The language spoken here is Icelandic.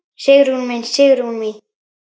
Sigrún mín, Sigrún mín.